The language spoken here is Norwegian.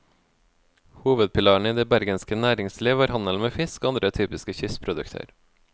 Hovedpilaren i det bergenske næringsliv var handel med fisk og andre typiske kystprodukter.